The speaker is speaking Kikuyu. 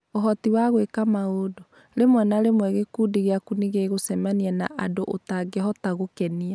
Ũhoti wa gwĩka maũndũ: Rĩmwe na rĩmwe gĩkundi gĩaku nĩ gĩgũcemania na andũ ũtangĩhota gũkenia.